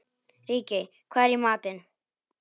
Ríkey, hvað er í matinn?